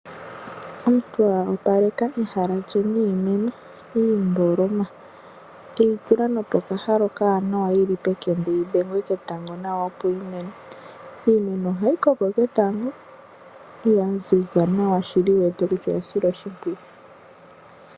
Omuntu opaleka ehala lye niimeno iimboloma eyitula nopo kahala okanawa yili pekende yidhengwe ketango opo yimune, iimeno oha yikoko ketango yanzinza nawa shili wuwete kutya oya silwa oshipwiyu.